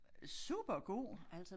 Supergod